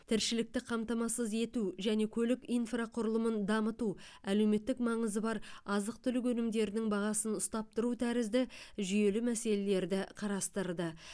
тіршілікті қамтамасыз ету және көлік инфрақұрылымын дамыту әлеуметтік маңызы бар азық түлік өнімдерінің бағасын ұстап тұру тәрізді жүйелі мәселелерді қарастырды